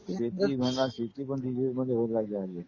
शेती म्हणा शेती पण डिजिटल मध्ये होऊ लागली आहे हल्ली.